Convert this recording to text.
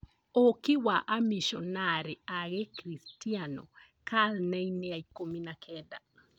ũki wa amishonarĩ a gĩkristiano karine-inĩ ya ikũmi na kenda.